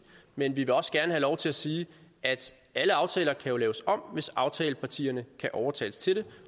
men vi vil også gerne have lov til at sige at alle aftaler jo kan laves om hvis aftalepartierne kan overtales til